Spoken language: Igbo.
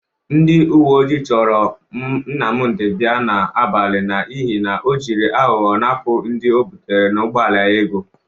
Ndị uwe ojii chọrọ Nnamdị bia n'abalị n'ihi na ọ jiri aghọghọ napụ ndị o bụtere n'ụgbọala ya ego